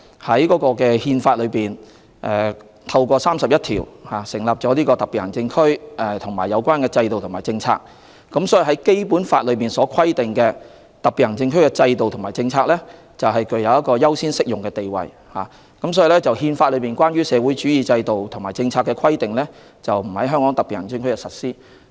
《憲法》透過第三十一條，對設立特別行政區及有關制度和政策作出規定，而《基本法》對於香港特別行政區的制度和政策的規定，是具有優先適用的地位，亦因而《憲法》內有關社會主義的制度和政策的規定，是不會在香港特別行政區內實施。